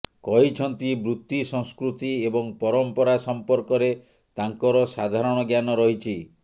କହିଛନ୍ତି ବୃତ୍ତି ସଂସ୍କୃତି ଏବଂ ପରମ୍ପରା ସଂପର୍କରେ ତାଙ୍କର ସାଧାରଣ ଜ୍ଞାନ ରହିଛି